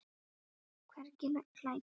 Hvergi glæta.